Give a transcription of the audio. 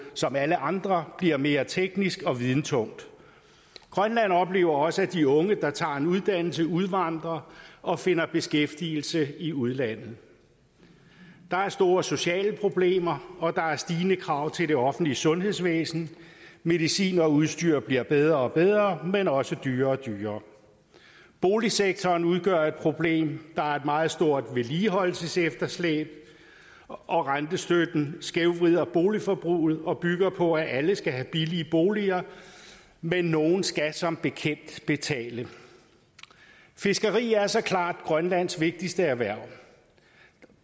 som alle andre bliver mere teknisk og videnstungt grønland oplever også at de unge der tager en uddannelse udvandrer og finder beskæftigelse i udlandet der er store sociale problemer og der er stigende krav til det offentlige sundhedsvæsen medicin og udstyr bliver bedre og bedre men også dyrere og dyrere boligsektoren udgør et problem der er et meget stort vedligeholdelsesefterslæb og rentestøtten skævvrider boligforbruget og bygger på at alle skal have billige boliger men nogle skal som bekendt betale fiskeri er så klart grønlands vigtigste erhverv